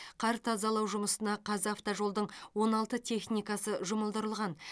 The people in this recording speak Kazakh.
қар тазалау жұмысына қазавтожолдың он алты техникасы жұмылдырылған